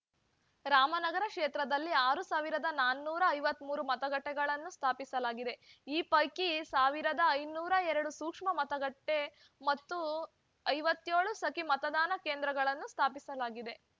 ರಾಮನಗರ ಕ್ಷೇತ್ರದಲ್ಲಿ ಆರ್ ಸಾವಿರದ ನಾನೂರ ಐವತ್ತ್ ಮೂರು ಮತಗಟ್ಟೆಗಳನ್ನು ಸ್ಥಾಪಿಸಲಾಗಿದೆ ಈ ಪೈಕಿ ಸಾವಿರದ ಐನೂರ ಎರಡು ಸೂಕ್ಷ್ಮ ಮತಗಟ್ಟೆಮತ್ತು ಐವತ್ತ್ಯೋಳು ಸಖಿ ಮತದಾನ ಕೇಂದ್ರಗಳನ್ನು ಸ್ಥಾಪಿಸಲಾಗಿದೆ